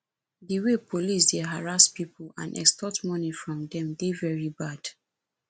di way police dey harass people and extort money from dem dey very bad